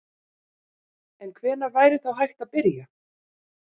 En hvenær væri þá hægt að byrja?